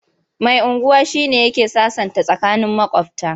Mai unguwa shi ne yake sasanta tsakanin maƙwabta.